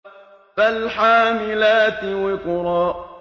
فَالْحَامِلَاتِ وِقْرًا